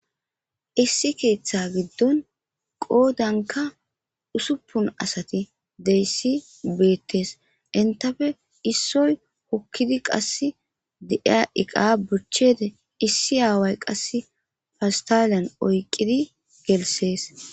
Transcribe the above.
Issi keeththa giddon qoodanka usuppun asati deyssi beettes intafe issoy hokkidi qass de7iya iqa buchchede issi aaway qass fawstaliyan oyqidi gelsees.